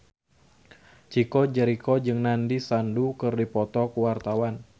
Chico Jericho jeung Nandish Sandhu keur dipoto ku wartawan